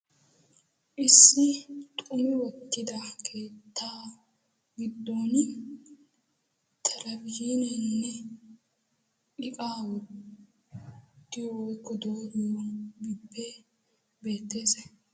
Issi xumi wottida keettaa giddon telebihziineenne iqaa wottiyo dooriyoge beettees.